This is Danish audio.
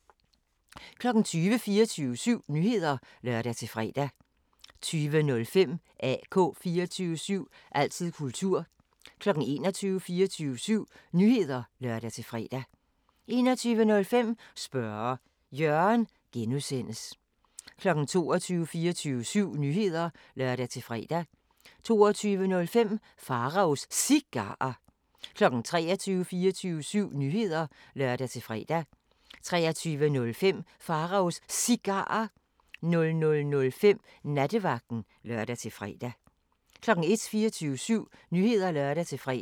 20:00: 24syv Nyheder (lør-fre) 20:05: AK 24syv – altid kultur 21:00: 24syv Nyheder (lør-fre) 21:05: Spørge Jørgen (G) 22:00: 24syv Nyheder (lør-fre) 22:05: Pharaos Cigarer 23:00: 24syv Nyheder (lør-fre) 23:05: Pharaos Cigarer 00:05: Nattevagten (lør-fre) 01:00: 24syv Nyheder (lør-fre)